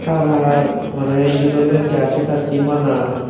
har har maneh iyot olodey jarsi tarsi bana.